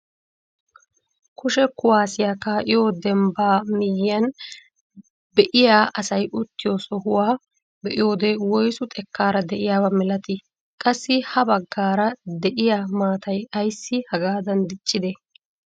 Kushe kuwaasiyaa ka'iyoo dembbaa miyiyaan be'iyaa asay uttiyoo sohuwaa be'iyoode woysu xekkaara de'iyaaba milatii? qassi ha baggaara de'iyaa maatay ayssi hagaada diccidee?